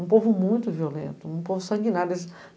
Um povo muito violento, um povo sanguinário.